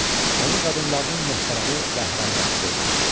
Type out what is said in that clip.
Onu qadınlarının möhtərəmi və hərəmbaçısı etdi.